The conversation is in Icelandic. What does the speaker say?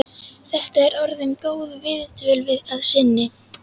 Þetta er orðin góð viðdvöl að sinni.